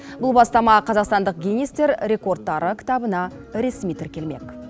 бұл бастама қазақстандық гиннестер рекордтары кітабына ресми тіркелмек